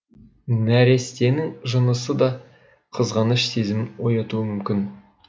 нәрестенің жынысы да қызғаныш сезімін оятуы мүмкін